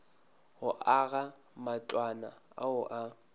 go aga matlwana ao a